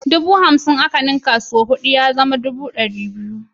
Dubu hamsin a ninka ta sau huɗu dubu ɗari biyu ne.